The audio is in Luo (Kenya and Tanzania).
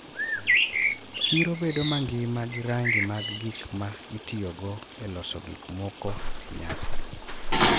Chiro bedo mangima gi rangi mag gik ma itiyogo e loso gik moko e nyasi,